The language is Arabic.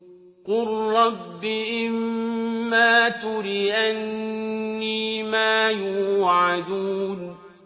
قُل رَّبِّ إِمَّا تُرِيَنِّي مَا يُوعَدُونَ